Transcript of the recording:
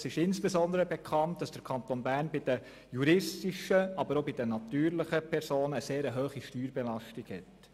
Es ist insbesondere bekannt, dass der Kanton Bern bei den juristischen, aber auch bei den natürlichen Personen, eine sehr hohe Steuerbelastung hat.